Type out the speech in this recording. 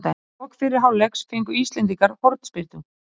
Undir lok fyrri hálfleiks fengu íslendingar hornspyrnu.